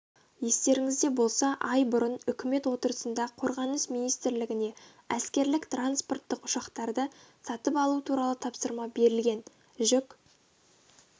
естеріңізде болса ай бұрын үкімет отырысында қорғаныс министрлігіне әскерлік-транспорттық ұшақтарды сатып алу туралы тапсырма берілген жүк